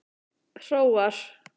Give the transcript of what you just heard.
Hróar